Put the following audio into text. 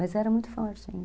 Mas era muito forte ainda.